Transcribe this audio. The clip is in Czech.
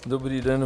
Dobrý den.